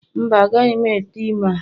Mba, agaghị m ete ime a